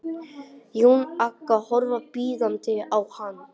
Jón Agnar horfir biðjandi á hann.